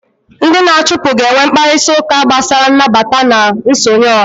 Ndị na-achụpụ ga-enwe mkparịta ụka gbasara nnabata na nsonye ọha